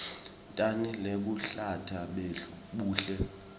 tjani lobuluhlata buhle